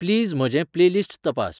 please म्हजें playlist तपास